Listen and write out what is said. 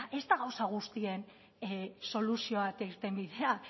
legea ez da gauza guztien soluzioa eta irtenbidea